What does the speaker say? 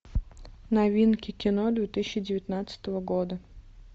новинки кино две тысячи девятнадцатого года